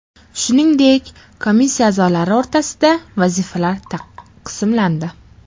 Shuningdek, komissiya a’zolari o‘rtasida vazifalar taqsimlandi.